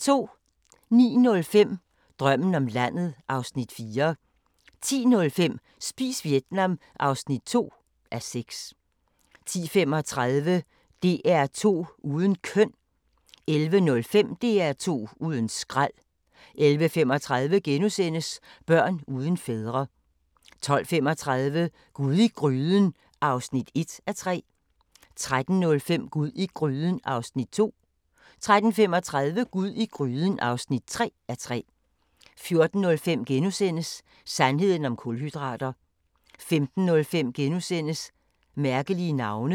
09:05: Drømmen om landet (Afs. 4) 10:05: Spis Vietnam (2:6) 10:35: DR2 uden køn 11:05: DR2 uden skrald 11:35: Børn uden fædre * 12:35: Gud i gryden (1:3) 13:05: Gud i gryden (2:3) 13:35: Gud i gryden (3:3) 14:05: Sandheden om kulhydrater * 15:05: Mærkelige navne *